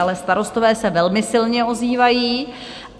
Ale starostové se velmi silně ozývají.